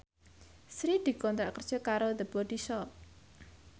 Sri dikontrak kerja karo The Body Shop